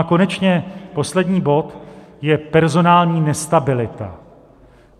A konečně poslední bod je personální nestabilita.